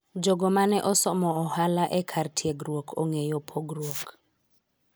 jogo mane osomo ohala e kar tiegruok ong'eyo pogruok